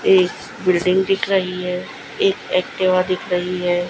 एक बिल्डिंग दिख रही है इस एक्टिवा दिख रही है।